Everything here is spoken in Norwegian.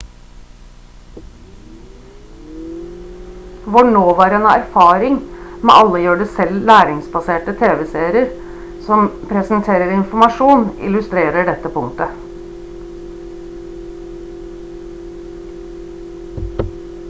vår nåværende erfaring med alle gjør-det-selv læringsbaserte tv-serier som presenterer informasjon illustrerer dette punktet